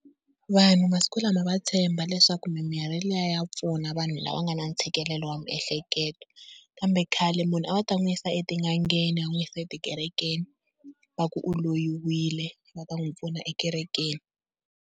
Vanhu masiku lama va tshemba leswaku mimirhi liya ya pfuna, vanhu lava nga na ntshikelelo wa miehleketo. Kambe khale munhu a va ta n'wi yisa etin'angeni va n'wi yisa etikerekeni va ku u loyiwile va ta n'wi pfuna ekerekeni.